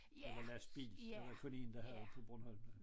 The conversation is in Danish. Eller lastbil det var der kun én der havde på Bornholm